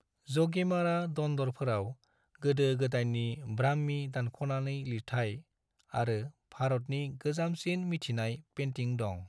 ज'गीमारा दन्दरफोराव गोदो-गोदाइनि ब्राह्मी दानखनानै लिरथाइ आरो भारतनि गोजामसिन मिथिनाय पेन्टिं दं।